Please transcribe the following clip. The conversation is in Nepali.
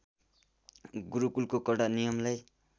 गुरुकुलको कडा नियमलाई